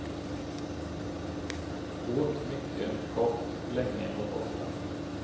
Åt mycket, gott, länge och ofta.